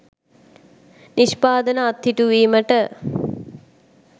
නිෂ්පාදන අත්හිටුවීමට